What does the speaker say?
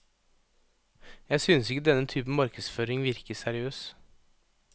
Jeg synes ikke denne typen markedsføring virker seriøs.